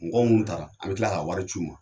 Mɔgɔ munnu taara an bɛ kila ka wari ci u ma.